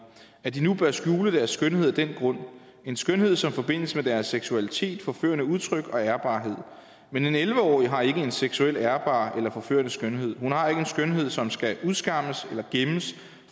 at de nu bør skjule deres skønhed af den grund en skønhed som forbindes med deres seksualitet forførende udtryk og ærbarhed men en elleve årig har ikke en seksuel ærbar eller forførende skønhed hun har ikke en skønhed som skal udskammes eller gemmes